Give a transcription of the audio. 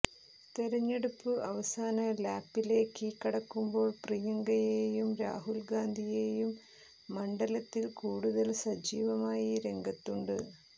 തെരഞ്ഞെടുപ്പു അവസാന ലാപ്പിലേക്ക് കടക്കുമ്പോൾ പ്രിയങ്കയും രാഹുൽ ഗാന്ധിയും മണ്ഡലത്തിൽ കൂടുതൽ സജീവമായി രംഗത്തുണ്ട്